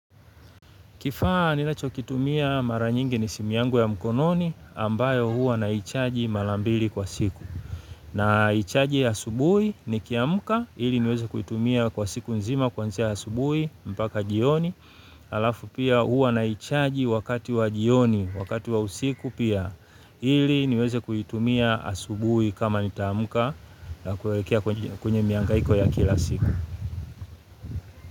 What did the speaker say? Kifaa ninacho kitumia mara nyingi ni simu yangu ya mkononi, ambayo huwa naichaji mala mbili kwa siku. Naichaji asubuhi, nikiamka, ili niweze kuitumia kwa siku nzima, kwanzia asubuhi, mpaka jioni. Alafu pia, huwa naichaji wakati wa jioni. Wakati wa usiku pia ili, niweze kuitumia asubuhi kama nitaamka na kuwekea kwenye miangaiko ya kila siku.